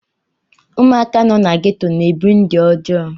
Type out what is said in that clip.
Ụmụaka nọ na geto na-ebi ndụ ọjọọ.